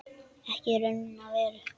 Ekki í raun og veru.